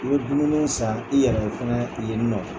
U bɛ dumuniw san i yɛrɛ ye fana yen nɔ.